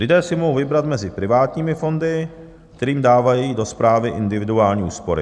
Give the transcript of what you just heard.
Lidé si mohou vybrat mezi privátními fondy, kterým dávají do správy individuální úspory.